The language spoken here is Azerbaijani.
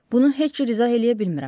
Bunu heç cür izah eləyə bilmirəm.